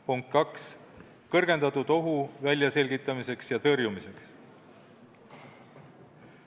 Punkt 2, kõrgendatud ohu väljaselgitamiseks ja tõrjumiseks.